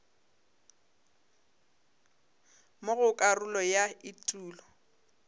mo go karolo ya etulo